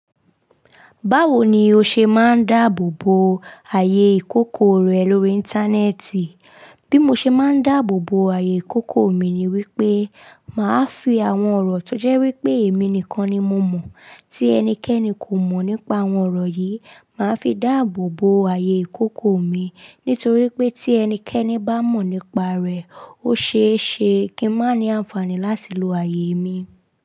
Báwo ni o ṣe máa ń dáàbò bo ààyè ìkókó rẹ lórí Íńtánẹ́ẹ̀tì? Bí mo ṣe máa ń dáàbò bo ààyè ìkókó mi ni wípé màá fi àwọn ọ̀rọ̀ tó jẹ́ wípé èmi nìkan ni mo mọ̀ tí ẹnikẹ́ni kò mọ̀ nípa àwọn ọ̀rọ̀ yìí, màá fi dáàbò bo ààyè ìkókó mi. Nítorí pé tí ẹnikẹ́ni bá mọ̀ nípa rẹ̀, ó ṣe é ṣe kí n má ní àǹfààní láti lo ààyè mi.